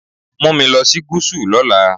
Take me to the South tomorrow.